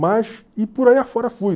Mas, e por aí afora fui.